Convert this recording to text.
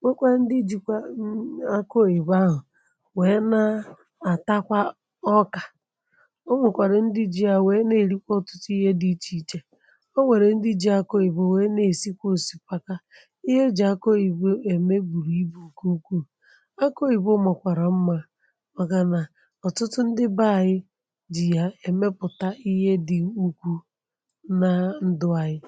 nwekwa ndị ị jikwa aku oyibo ahu wee ǹa atakwa oka o nwẹ̀kwàrà ndị ji yȧ wee n'erikwa otutu ihe di iche iche ọ nwẹ̀rẹ̀ ndị jị̇ aku oyibo wee n'esikwa osikapa ihe e jì aku oyibo eme bùrù ibù nke ukwuù aku oyibo makwara mma màkànà ọ̀tụtụ ndị bẹẹ anyị jì ya ẹmẹpụta ihe dị ukwuu na ndụ anyị.